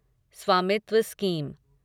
स्वामित्व स्कीम